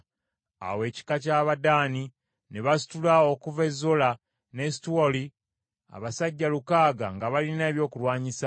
Awo ekika ky’Abadaani ne basitula okuva e Zola n’e Esutaoli, abasajja lukaaga nga balina ebyokulwanyisa.